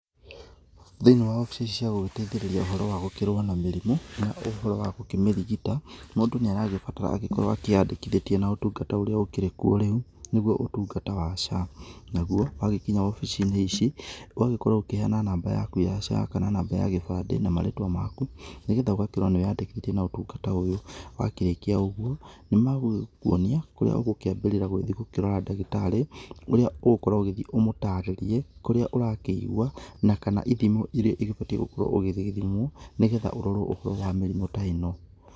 Thĩiniĩ wa obici cia gũgĩteithĩrĩria ũhoro wa gũkĩrũa na mĩrimũ, na ũhoro wa gũkĩmĩrigita, mũndũ nĩ aragĩbatara agĩkorwo agĩkĩandĩkĩtie na ũtungata ũria ũkĩrĩ kuo rĩu, nĩgũo ũtungata wa SHA, nagũo wagĩkinya obici-inĩ ici ũgagĩkorwo ũgĩkĩheana namba yaku ya SHA, kana namba ya gĩbandĩ na marĩtwa maku, nĩgetha ũgakĩona nĩ wĩ yandĩkithĩtie na ũtũngata ũyũ, wakĩrĩkia ũgũo nĩ magũgĩkuonia kũria ũgũkĩambĩrĩra gũgĩthiĩ gũkĩrora ndagĩtarĩ ũria ũgũkorwo ũgũthĩ ũmũtarĩrie kũria ũrakĩigua na kana ithimo ĩria ũbatiĩ gũkorwo ũgĩthimwo, nĩgetha ũrorwo ũhoro wa mĩrimũ ta ĩno.